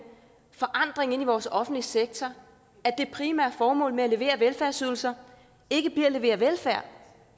forandring i vores offentlige sektor at det primære formål med at levere velfærdsydelser ikke bliver at levere velfærd